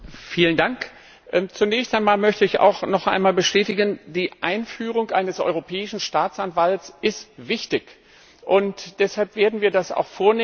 Frau Präsidentin! Zunächst einmal möchte ich auch noch einmal bestätigen Die Einführung eines Europäischen Staatsanwalts ist wichtig! Deshalb werden wir das auch vornehmen.